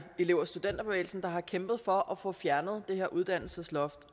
elev og studenterbevælgelsen har kæmpet for at få fjernet det her uddannelsesloft